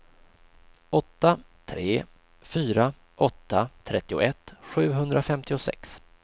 åtta tre fyra åtta trettioett sjuhundrafemtiosex